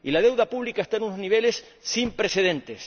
Y la deuda pública está en unos niveles sin precedentes.